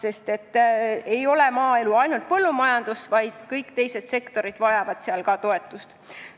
Maaelu ei tähenda ainult põllumajandust, ka kõik teised sealsed sektorid vajavad toetust.